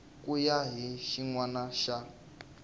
ku ya hi xinawana xa